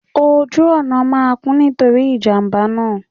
Oju ọna naa kún, nitori ijamba naa.